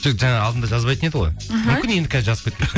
жоқ жаңа алдында жазбайтын еді ғой іхі мүмкін енді қазір жазып кеткен